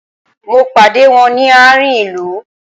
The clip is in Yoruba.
Mo pàdé wón ni àárín ilu